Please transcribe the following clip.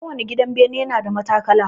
Kowani gidan bene na da matakala.